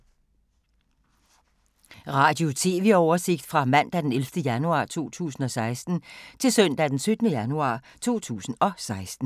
Radio/TV oversigt fra mandag d. 11. januar 2016 til søndag d. 17. januar 2016